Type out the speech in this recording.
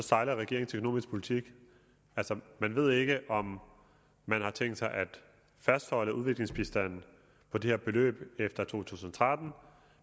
sejler regeringens økonomiske politik altså man ved ikke om man har tænkt sig at fastholde udviklingsbistanden på det her beløb efter to tusind og tretten